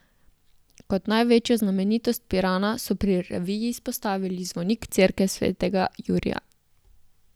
Kot največjo znamenitost Pirana so pri reviji izpostavili zvonik cerkve svetega Jurija.